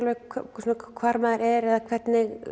hvar maður er eða hvernig